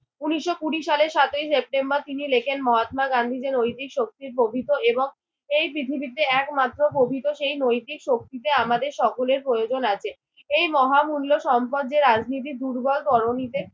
উনিশশো কুড়ি সালের সাতই সেপ্টেম্বর তিনি লিখেন মহাত্মা গান্ধী যে নৈতিক শক্তির প্রভৃত এই পৃথিবীতে একমাত্র পৃথিবীতে প্রভৃত সেই নৈতিক শক্তিতে আমাদের সকলের প্রয়োজন আছে। এই মহামূল্য সম্পদ যে রাজনীতি দুর্বল তরণীতে